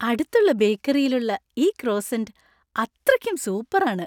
അടുത്തുള്ള ബേക്കറിയിൽ ഉള്ള ഈ ക്രോസ്സൻ് അത്രക്കും സൂപ്പർ ആണ് .